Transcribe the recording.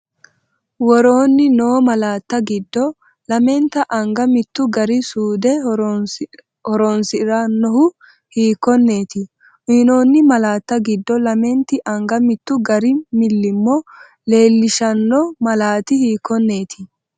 Woroonni noo malaatta giddo lamente anga mittu gari suude horoon- si’rannohu hiikkonneet? Uyinoonni malaatta giddo lamenti anga mittu gari millimmo leel- lishshanno malaati hiikkonneeti?